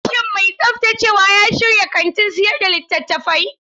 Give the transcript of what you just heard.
Shin mai tsaftacewa ya shirya kantin sayar da littattafai?